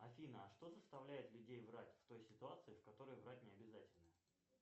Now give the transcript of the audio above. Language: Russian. афина а что заставляет людей врать в той ситуации в которой врать необязательно